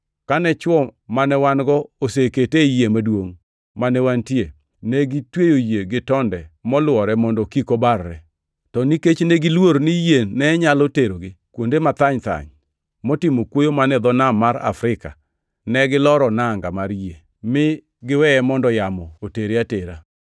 Kane chwo mane wan-go osekete ei yie maduongʼ mane wantie, negitweyo yie gi tonde molwore mondo kik obarre. To nikech negiluor ni yie ne nyalo terogi kuonde mathany-thany motimo kuoyo man e dho nam mar Afrika, ne giloro nanga mar yie mi giweye mondo yamo otere atera.